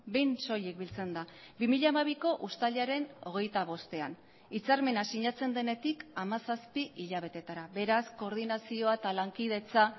behin soilik biltzen da bi mila hamabiko uztailaren hogeita bostean hitzarmena sinatzen denetik hamazazpi hilabetetara beraz koordinazioa eta lankidetza